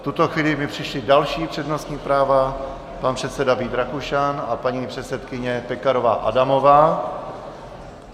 V tuto chvíli mi přišla další přednostní práva: pan předseda Vít Rakušan a paní předsedkyně Pekarová Adamová.